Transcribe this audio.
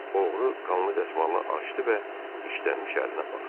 Oğru qanlı dəsmalını açdı və dişlənmiş əlinə baxdı.